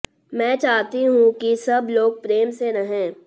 मैं चाहती हूं कि सब लोग प्रेम से रहें